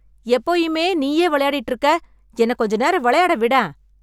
எப்போயுமே நீயே விளையாடிட்டு இருக்க! என்னக் கொஞ்ச நேரம் வெளையாட விடேன்!